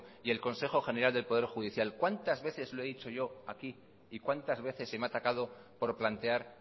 y el consejo general del poder judicial cuántas veces lo he dicho yo aquí y cuántas veces se me ha atacado por plantear